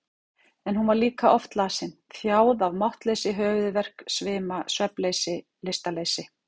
En hún var líka oft lasin, þjáð af máttleysi, höfuðverk, svima, svefnleysi, lystarleysi.